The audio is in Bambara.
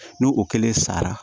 N'o o kelen sara